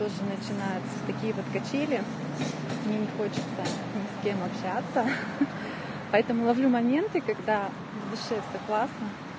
тоже начинается такие под качели мне не хочется ни с кем общаться поэтому ловлю моменты когда в душе всё классно